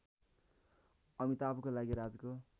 अमिताभको लागि राजको